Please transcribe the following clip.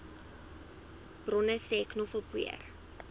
bronne sê knoffelpoeier